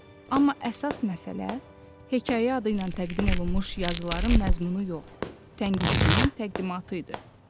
Amma əsas məsələ hekayə adı ilə təqdim olunmuş yazıların məzmunu yox, tənqidçinin təqdimatı idi.